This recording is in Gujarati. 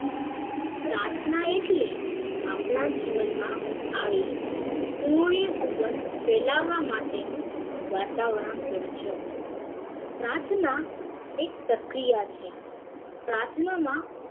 પ્રાર્થના એટલે આપણા જીવન માં આવી પુર્નસુગંધ ફેલાવા માં તેનું વાતાવરણ સમજવું પ્રાર્થના એક પ્રક્રિયા છે પ્રાર્થના માં